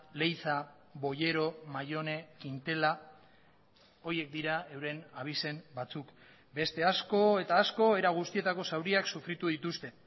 leiza boyero mayone quintela horiek dira euren abizen batzuk beste asko eta asko era guztietako zauriak sufritu dituzte